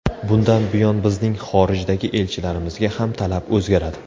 Bundan buyon bizning xorijdagi elchilarimizga ham talab o‘zgaradi.